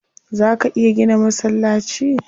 Zaa ka iya gina masallaci?